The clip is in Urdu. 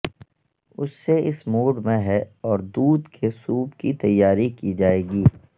اس سے اس موڈ میں ہے اور دودھ کے سوپ کی تیاری کی جائے گی